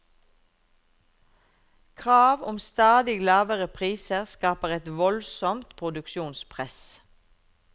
Krav om stadig lavere priser skaper et voldsomt produksjonspress.